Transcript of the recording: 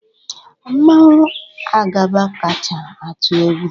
Mmanwu Agaba kacha atụ egwu